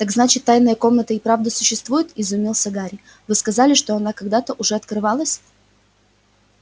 так значит тайная комната и правда существует изумился гарри вы сказали что она когда-то уже открывалась